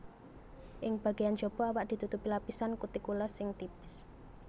Ing bagéyan jaba awak ditutupi lapisan kutikula sing tipis